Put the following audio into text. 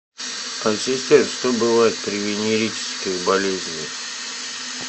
ассистент что бывает при венерических болезнях